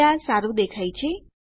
હવે આ સારું દેખાય છે